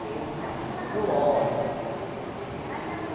Que aí eu ficava fazendo hora.